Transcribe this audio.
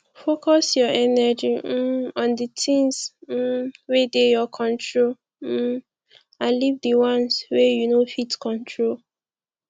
focus your energy um on di things um wey dey your control um and leave di ones wey you no fit control